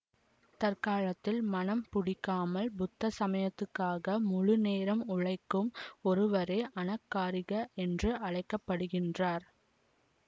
தற்காலத்தில் மணம் புடிக்காமல் புத்த சமயத்துக்காக முழுநேரம் உழைக்கும் ஒருவரே அனகாரிக என்று அழைக்க படுகிறார்